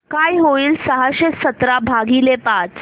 काय होईल सहाशे सतरा भागीले पाच